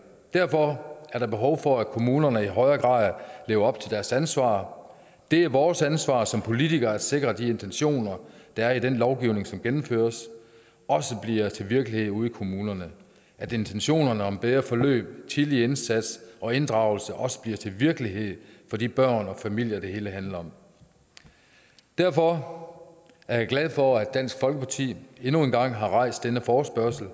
derfor er der behov for at kommunerne i højere grad lever op til deres ansvar det er vores ansvar som politikere at sikre at de intentioner der er i den lovgivning som gennemføres også bliver til virkelighed ude i kommunerne at intentionerne om bedre forløb tidlig indsats og inddragelse også bliver til virkelighed for de børnefamilier det hele handler om derfor er jeg glad for at dansk folkeparti endnu en gang har rejst en forespørgsel